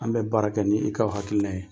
An be baara kɛ ni i ka hakilina ye.